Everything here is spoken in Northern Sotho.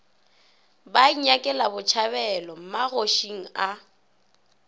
ba inyakela botšhabelo magošing a